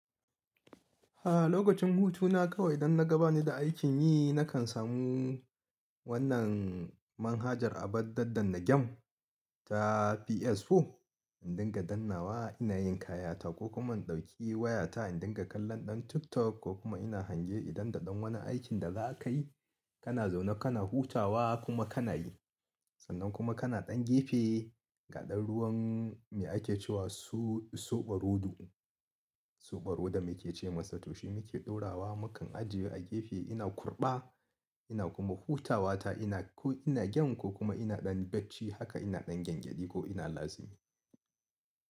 A lokacin hutu na kawai idan naga bani da aikin yi na kan samu wannan manhajar abun daddanna game ta PS4, in dinga dannawa ina yin kayata ko kuma in ɗauki wayata in dinga kallon ɗan TikTok ko kuma ina hange idan da ɗan wani aikin da za a kai. Kana zaune kana hutawa kuma kana yi. Sannan kuma kana ɗan gefe ga ɗan ruwan me ake cewa soɓo rodo. Soɓo rodo meke ce masa toshi muke ɗora wa mukan ajiye a gefe ina kurɓa ina kuma hutawa ta ina ko ina game ko kuma ina ɗan bacci haka ina ɗan gyangyaɗi ko ina lazimi.